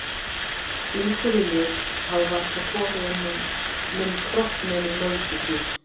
Flíkur í lit hafa varla komið á minn kropp nema í Mögdu tíð.